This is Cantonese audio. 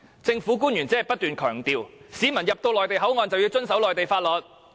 政府官員只不斷強調，市民進入內地口岸便要遵守內地法律。